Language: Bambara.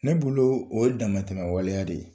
Ne bolo o ye damatɛmɛ waleya de ye.